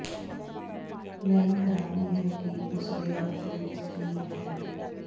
ਮੈਨੂੰ ਹੈਰਾਨੀ ਹੈ ਕਿ ਉਸ ਦੇ ਹੱਥ ਵਿੱਚ ਕੀ ਹੈ